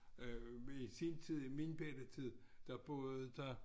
Øh i sin tid i min bette tid der boede der